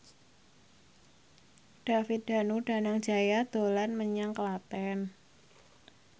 David Danu Danangjaya dolan menyang Klaten